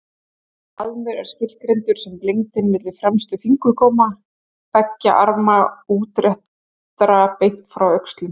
Faðmur er skilgreindur sem lengdin milli fremstu fingurgóma beggja arma útréttra beint frá öxlum.